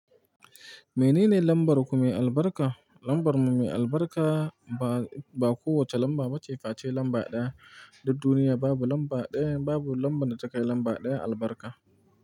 Menene lambar ku mai albarka? Lambar mu mai albarka ba, ba kowace lamba ba ce face lamba ɗaya. Dud duniya babu lamba ɗaya, babu lamban da takai lamba ɗaya albarka.